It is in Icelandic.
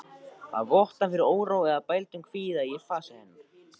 Það vottar fyrir óró eða bældum kvíða í fasi hennar.